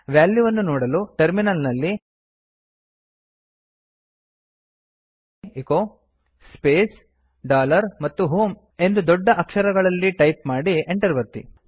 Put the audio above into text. ವ್ಯಾಲ್ಯೂವನ್ನು ನೋಡಲು ಟರ್ಮಿನಲ್ ನಲ್ಲಿ ಎಚೊ ಸ್ಪೇಸ್ ಡಾಲರ್ ಮತ್ತು h o m ಇ ಎಂದು ದೊಡ್ಡ ಅಕ್ಷರಗಳಲ್ಲಿ ಟೈಪ್ ಮಾಡಿ Enter ಒತ್ತಿ